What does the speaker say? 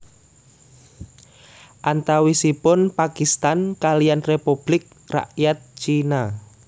Antawisipun Pakistan kaliyan Republik Rakyat Cina